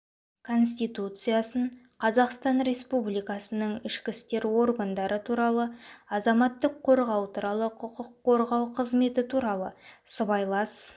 конституциясын қазақстан республикасының ішкі істер органдары туралы азаматтық қорғау туралы құқық қорғау қызметі туралы сыбайлас